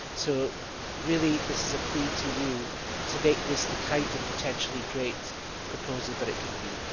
So really this is a plea to you to make this the kind of potentially great proposal that it can be.